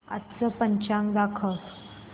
आजचं पंचांग दाखव